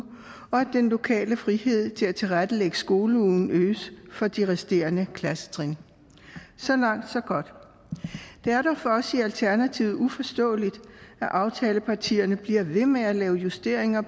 og at den lokale frihed til at tilrettelægge skoleugen øges for de resterende klassetrin så langt så godt det er dog for os i alternativet uforståeligt at aftalepartierne bliver ved med at lave justeringer